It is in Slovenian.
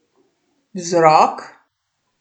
Vzrok?